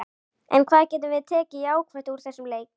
En hvað getum við tekið jákvætt úr þessum leik?